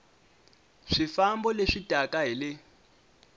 swifambo leswi taka hi le